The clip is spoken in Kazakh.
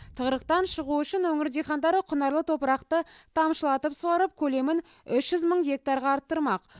тығырықтан шығу үшін өңір дихандары құнарлы топырақты тамшылатып суарып көлемін үш жүз мың гектарға арттырмақ